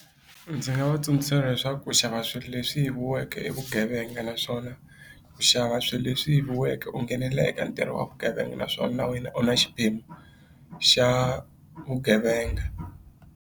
Ndzi nga va tsundzuxa leswaku ku xava swilo leswi yiviweke vugevenga naswona ku xava swilo leswi yiviweke u nghenelela ntirho wa vugevenga naswona na wena u na xiphemu xa vugevenga.